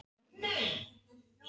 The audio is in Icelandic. Hvernig segir maður: Ég er svöng?